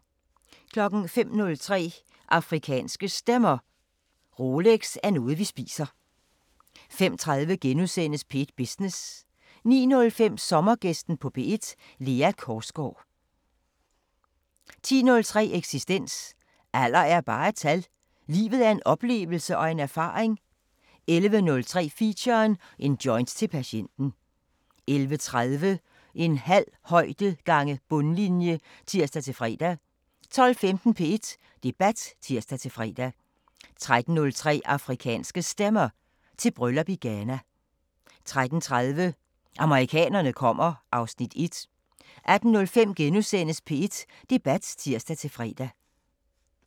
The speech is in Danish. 05:03: Afrikanske Stemmer: Rolex er noget vi spiser 05:30: P1 Business * 09:05: Sommergæsten på P1: Lea Korsgaard 10:03: Eksistens: Alder er bare et tal – livet er en oplevelse og en erfaring 11:03: Feature: En joint til patienten 11:30: En halv højde gange bundlinje (tir-fre) 12:15: P1 Debat (tir-fre) 13:03: Afrikanske Stemmer: Til bryllup i Ghana 13:30: Amerikanerne kommer (Afs. 1) 18:05: P1 Debat *(tir-fre)